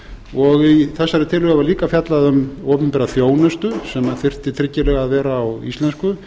og í þessari tillögu er líka fjallað um opinbera þjónustu sem þyrfti tryggilega að vera á íslensku